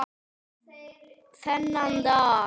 Þennan dag.